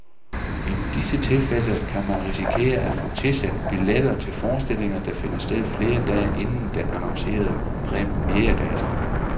I disse tilfælde kan man risikere at få tilsendt billetter til forestillinger, der finder sted flere dage inden den annoncerede premieredato.